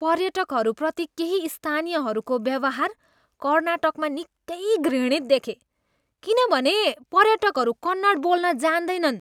पर्यटकहरूप्रति केही स्थानीयहरूको व्यवहार कर्नाटकमा निकै घृणित देखेँ किनभने पर्यटकहरू कन्नड बोल्न जान्दैनन्।